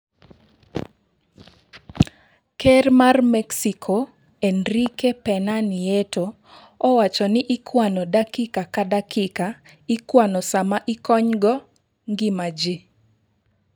Ker ma Mexico Enrique Pena Nieto owacho ni ikwano dakika ka dakika ikwano sama ikonygo ngima ji.